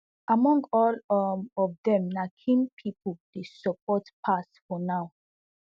among all um of dem na kim pipo dey support pass for now